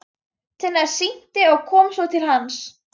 Tinna synti og kom svo til hans.